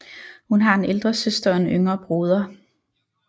Hun har en ældre søster og en yngre broder